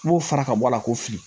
N b'o fara ka bɔ a la k'o fili